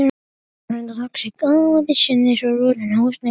Bóndi glímdi af afli.